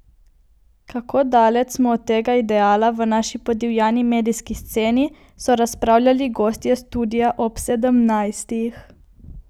Kako daleč smo od tega ideala v naši podivjani medijski sceni, so razpravljali gostje Studia ob sedemnajstih.